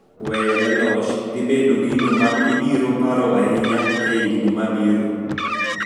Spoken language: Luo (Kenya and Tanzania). Weyone loch dhi bedo gino ma ibiro paro ahinya higni mabiro